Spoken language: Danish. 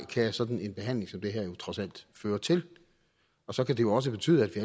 kan sådan en behandling som den her jo trods alt føre til og så kan det jo også betyde at vi